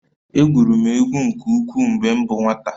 Egwuru egwu nke ukwuu mgbe m bụ nwata